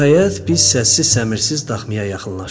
Nəhayət, biz səssiz-səmirsiz daxmaya yaxınlaşdıq.